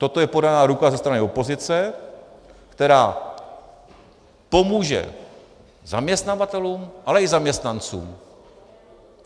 Toto je podaná ruka ze strany opozice, která pomůže zaměstnavatelům, ale i zaměstnancům.